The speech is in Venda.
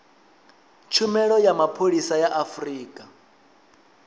tshumelo ya mapholisa a afurika